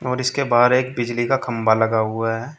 और इसके बाहर एक बिजली का खम्भा लगा हुआ है।